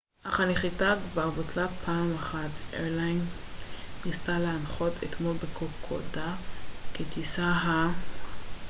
ה-twin otter ניסה לנחות אתמול בקוקודה כטיסת png אירליינס cg4684 אך הנחיתה כבר בוטלה פעם אחת